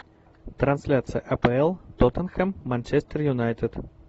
трансляция апл тоттенхэм манчестер юнайтед